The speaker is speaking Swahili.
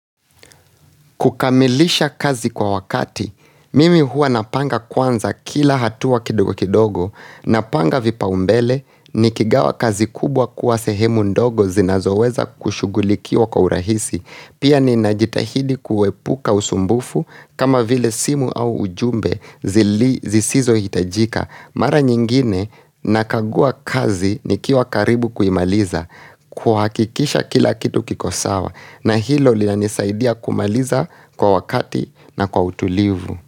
Kukamilisha kazi kwa wakati, mimi hua napanga kwanza kila hatua kidogo kidogo, napanga vipa umbele, nikigawa kazi kubwa kuwa sehemu ndogo zinazoweza kushugulikiwa kwa urahisi. Pia ninajitahidi kuepuka usumbufu kama vile simu au ujumbe zisizohitajika. Mara nyingi nakagua kazi ni kiwa karibu kuimaliza kwa hakikisha kila kitu kikosawa na hilo li na nisaidia kumaliza kwa wakati na kwa utulivu.